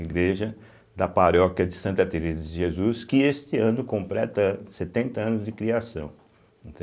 Igreja da paróquia de Santa Teresa de Jesus, que este ano completa setenta anos de criação,